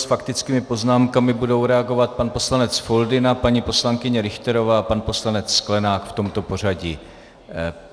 S faktickými poznámkami budou reagovat pan poslanec Foldyna, paní poslankyně Richterová a pan poslanec Sklenák v tomto pořadí.